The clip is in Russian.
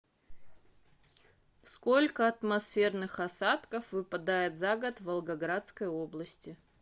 сколько атмосферных осадков выпадает за год в волгоградской области